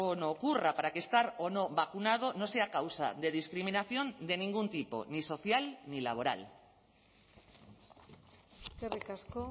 no ocurra para que estar o no vacunado no sea causa de discriminación de ningún tipo ni social ni laboral eskerrik asko